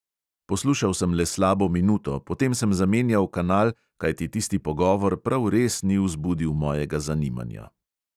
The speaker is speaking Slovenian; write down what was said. Poslušal sem le slabo minuto, potem sem zamenjal kanal, kajti tisti pogovor prav res ni vzbudil mojega zanimanja.